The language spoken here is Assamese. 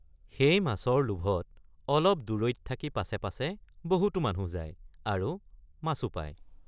সেই মাছৰ লোভত অলপ দূৰৈত থাকি পাছে পাছে বহুতো মানুহ যায় আৰু মাছো পায়।